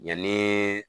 Yanni